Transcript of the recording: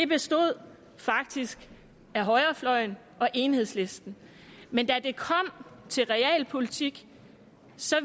bestod faktisk af højrefløjen og enhedslisten men da det kom til realpolitik